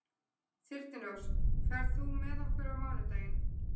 Þyrnirós, ferð þú með okkur á mánudaginn?